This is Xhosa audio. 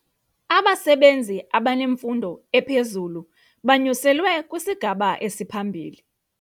Abasebenzi abanemfundo ephezulu banyuselwe kwisigaba esiphambili.